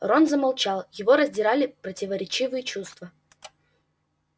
рон замолчал его раздирали противоречивые чувства